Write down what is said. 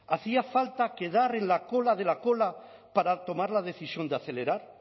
hacía falta quedar en la cola de la cola para tomar la decisión de acelerar